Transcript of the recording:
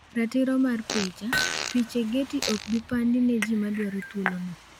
Ratiro mar picha, piche Getty okbi pandi ne ji ma madwaro thuolono.